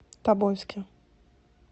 тобольске